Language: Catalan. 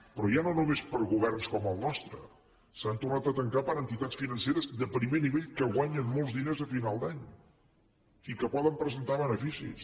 però ja no només per a governs com el nostre s’han tornat a tancar per a entitats financeres de primer nivell que guanyen molts diners a finals d’any i que poden presentar beneficis